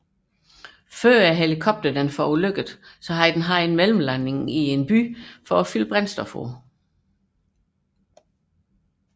Før ulykken havde helikopteren haft en mellemlanding i Longyearbyen for påfyldning af brændstof